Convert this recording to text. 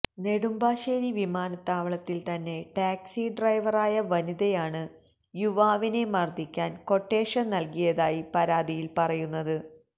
നെടുമ്പാശേരി വിമാനത്താവളത്തിൽ തന്നെ ടാക്സി ഡ്രൈവറായ വനിത യാണ് യുവാവിനെ മർദ്ദിക്കാന് ക്വട്ടേഷൻ നൽകിയതായി പരാതിയിൽ പറയുന്നത്